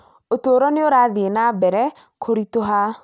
ũtũũro nĩ ũrathiĩ na mbere kũritũha